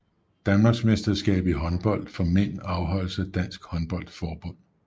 Danmarksmesterskab i håndbold for mænd afholdt af Dansk Håndbold Forbund